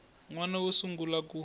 n wana wo sungula ku